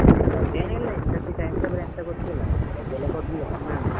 ರಜೆಯೇನಿಲ್ಲ ಈ ಸರ್ತಿ time table ಎಂತ ಗೊತ್ತಿಲ್ಲ ರಜೆ ಎಲ್ಲ ಕೊಡ್ಲಿಲ್ಲ ಕಮ್ಮಿ ಉಂಟು.